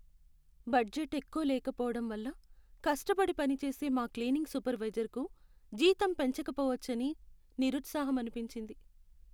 Budget ఎక్కువ లేకపోవటం వల్ల కష్టపడి పనిచేసే మా క్లీనింగ్ సూపర్వైజర్కు జీతం పెంచకపోవచ్చని నిరుత్సాహం అనిపించింది.